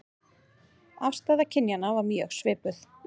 Afstaða kynjanna var mjög svipuð